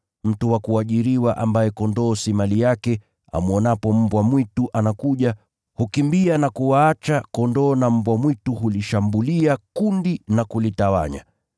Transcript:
Mtu wa kuajiriwa sio mchungaji mwenye kondoo. Amwonapo mbwa mwitu akija, yeye hukimbia na kuwaacha kondoo. Naye mbwa mwitu hulishambulia kundi na kulitawanya.